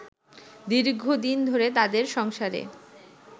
দীর্ঘদিন ধরে তাদের সংসারে